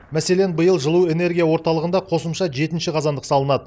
мәселен биыл жылу энергия орталығында қосымша жетінші қазандық салынады